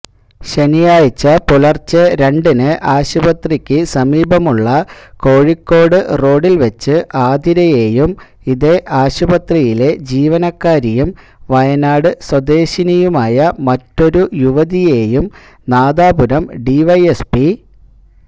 ശനിയാഴ്ച പുലര്ച്ചെരണ്ടിന് ആശുപത്രിക്കുസമീപമുള്ള കോഴിക്കോട് റോഡില് വെച്ച് ആതിരയെയും ഇതേ ആശുപത്രിയിലെ ജീവനക്കാരിയും വയനാട് സ്വദേശിനിയുമായ മറ്റൊരു യുവതിയെയും നാദാപുരംഡിവൈഎസ്പി